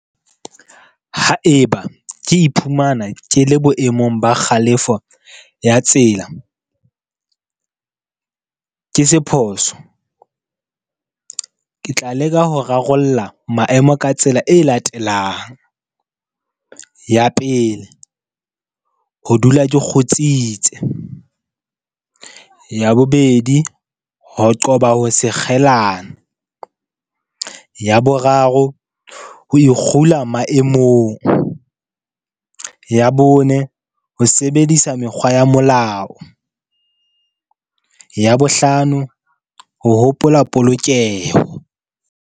Haeba ke iphumana ke le boemong ba kgalefo ya tsela, ke se phoso ke tla leka ho rarollla maemo ka tsela e latelang. Ya pele, ho dula ke kgutsitse, ya bobedi, ho qoba ho se , ya boraro, ho ikgule maemong, ya bone ho sebedisa mekgwa ya molao, ya bohlano ho hopola polokeho.